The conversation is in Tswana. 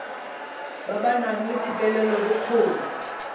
ba ba nang le thetelelobokgoni